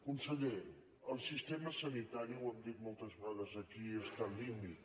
conseller el sistema sanitari ho hem dit moltes vegades aquí està al límit